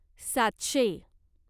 सातशे